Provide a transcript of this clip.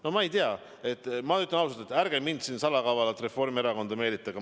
No ma ei tea, ma ütlen ausalt, et ärge mind salakavalalt Reformierakonda meelitage.